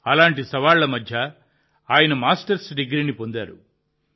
అటువంటి సవాళ్ల మధ్య ఆయన మాస్టర్స్ డిగ్రీని పొందారు